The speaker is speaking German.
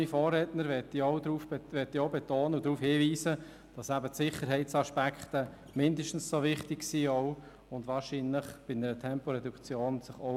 Wie mein Vorredner möchte ich darauf hinweisen, dass Sicherheitsaspekte bei einer Temporeduktion mindestens ebenso wichtig sind.